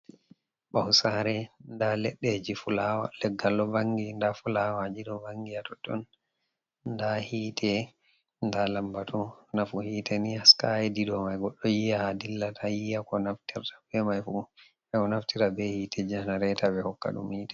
Ɓawo sare nda leɗɗeji fulawa, leggal ɗo vangi nda fulawa jido vangi ha totton nda hite nda lambbatu, nafu hite ni haska hedido, mai goddo yiya ha dilla ta yiya ko naftira be mai fu ao naftira be hite janareta be hokka dum hite.